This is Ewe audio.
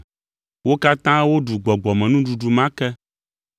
Wo katã woɖu gbɔgbɔmenuɖuɖu ma ke,